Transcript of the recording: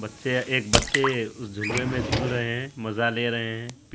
बच्चे है एक बच्चे उस झुलवे में झूल रहे है मज़ा ले रहे है।